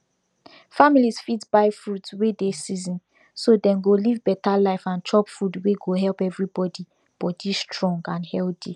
families fit buy fruits wey dey season so dem go live better life and chop food wey go help everybody body strong and healthy